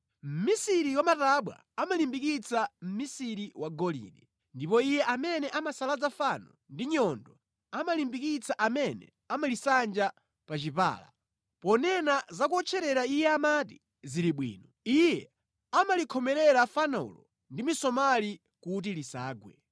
Mʼmisiri wa matabwa amalimbikitsa mʼmisiri wa golide, ndipo iye amene amasalaza fano ndi nyundo amalimbikitsa amene amalisanja pa chipala. Ponena za kuwotcherera iye amati, “Zili bwino.” Iye amalikhomerera fanolo ndi misomali kuti lisagwe.